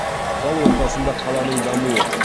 зал ортасында қаланың дамуы